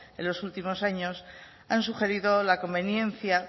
en los últimos años han sugerido la conveniencia